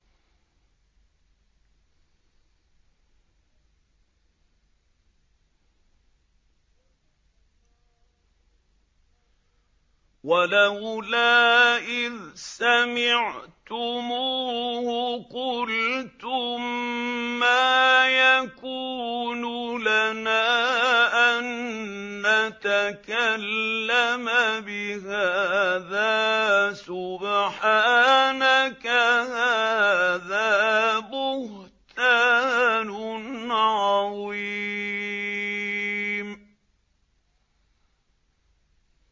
وَلَوْلَا إِذْ سَمِعْتُمُوهُ قُلْتُم مَّا يَكُونُ لَنَا أَن نَّتَكَلَّمَ بِهَٰذَا سُبْحَانَكَ هَٰذَا بُهْتَانٌ عَظِيمٌ